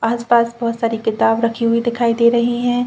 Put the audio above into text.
आस-पास बहोत सारी किताब रखी हुई दिखाई दे रही है।